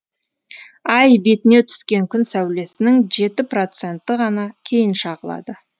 ай бетіне түскен күн сәулесінің жеті проценті ғана кейін шағылады